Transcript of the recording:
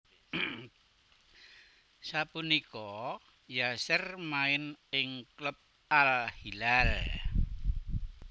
Sapunika Yasser main ing klub Al Hilal